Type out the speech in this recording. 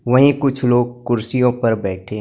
वहीं कुछ लोग कुर्सियों पर बैठे--